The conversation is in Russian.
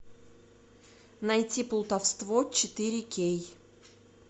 найти плутовство четыре кей